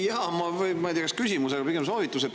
Jaa, ma ei tea, kas just küsimus, pigem soovitus.